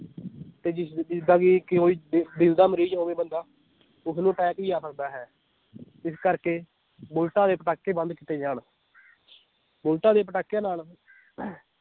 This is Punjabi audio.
ਤੇ ਜਿਸ ਜਿਸ ਦਾ ਵੀ ਕੋਈ ਦਿ ਦਿਲ ਦਾ ਮਰੀਜ ਹੋਵੇ ਬੰਦਾ ਉਸ ਨੂੰ attack ਵੀ ਆ ਸਕਦਾ ਹੈ ਇਸ ਕਰਕੇ ਬੁਲਟਾਂ ਦੇ ਪਟਾਕੇ ਬੰਦ ਕੀਤੇ ਜਾਣ ਬੁਲਟਾਂ ਦੇ ਪਟਾਕਿਆਂ ਨਾਲ